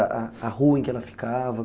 A rua em que ela ficava?